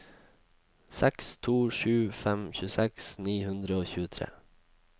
seks to sju fem tjueseks ni hundre og tjuetre